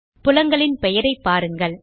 புலங்களின் பெயரை பாருங்கள்